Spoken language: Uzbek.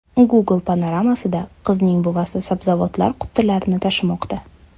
Google panoramasida qizning buvasi sabzavotlar qutilarini tashimoqda.